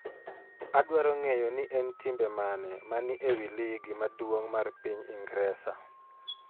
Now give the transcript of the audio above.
Adwaro ng'eyo ni en timbe mane ma ni e wi ligi maduong' mar piny Ingresa